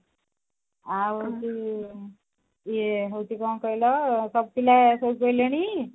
ଆଉ ଏମତି ଇଏ ହେଇଛି କଣ କହିଲ ସବୁ ପିଲେ ଶୋଇପଇଲେଣି